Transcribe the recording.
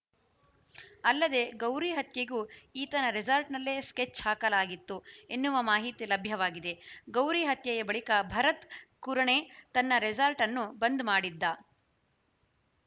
ಅಲ್ಲದೇ ಗೌರಿ ಹತ್ಯೆಗೂ ಈತನ ರೆಸಾರ್ಟ್‌ನಲ್ಲೇ ಸ್ಕೆಚ್‌ ಹಾಕಲಾಗಿತ್ತು ಎನ್ನುವ ಮಾಹಿತಿ ಲಭ್ಯವಾಗಿದೆ ಗೌರಿ ಹತ್ಯೆಯ ಬಳಿಕ ಭರತ್‌ ಕುರಣೆ ತನ್ನ ರೆಸಾರ್ಟ್‌ ಅನ್ನು ಬಂದ್‌ ಮಾಡಿದ್ದ